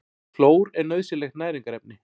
Klór er nauðsynlegt næringarefni.